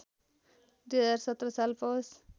२०१७ साल पौष